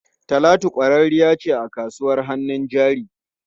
Talatu kwararriya ce a kasuwar hannun jari.